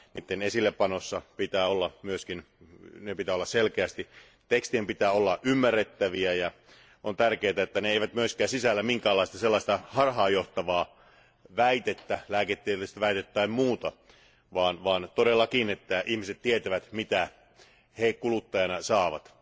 Niiden esillepanon pitää olla myös selkeä, tekstien pitää olla ymmärrettäviä, ja on tärkeää, että ne eivät myöskään sisällä minkäänlaista sellaista harhaanjohtavaa väitettä, lääketieteellistä väitettä tai muuta, vaan todellakin, että ihmiset tietävät, mitä he kuluttajana saavat.